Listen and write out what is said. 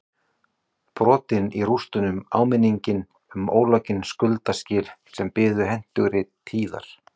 Brotin í rústunum áminning um ólokin skuldaskil sem biðu hentugri tíðar